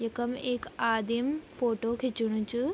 यखम एक आदिम फोटो खिच्णु च।